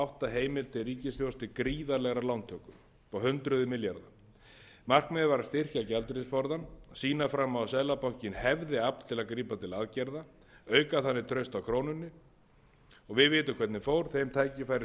átta heimild til ríkissjóðs til gríðarlegrar lántöku upp á hundruð milljarða markmiðið var að styrkja gjaldeyrisforðann sýna fram á að seðlabankinn hefði afl til að grípa til aðgerða auka þannig traust á krónunni og við vitum hvernig fór þau tækifæri